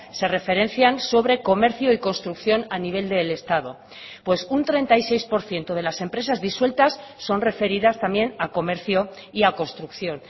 se referencian sobre comercio y construcción a nivel del estado pues un treinta y seis por ciento de las empresas disueltas son referidas también a comercio y a construcción